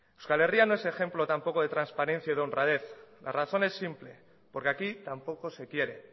euskal herria no es ejemplo tampoco de transparencia y de honradez la razón es simple porque aquí tampoco se quiere